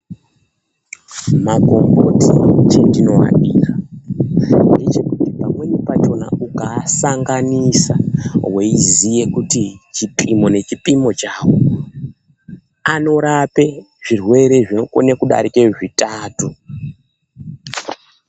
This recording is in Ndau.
Makomboti chendinoadira ngechekuti pamweni pachona ukaasanganisa veiziye kuti chipimo nechipimo chavo. Anorape zvirwere zvinokone kudarika zvitatu.